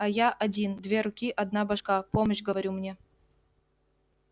а я один две руки одна башка помощь говорю мне